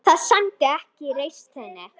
Það sæmdi ekki reisn þinni.